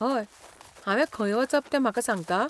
हय, हांवें खंय वचप तें म्हाका सांगता?